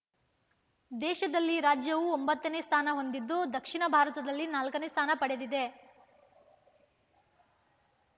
ದೇಶದಲ್ಲಿ ರಾಜ್ಯವು ಒಂಬತ್ತನೇ ಸ್ಥಾನ ಹೊಂದಿದ್ದು ದಕ್ಷಿಣ ಭಾರತದಲ್ಲಿ ನಾಲ್ಕನೇ ಸ್ಥಾನ ಪಡೆದಿದೆ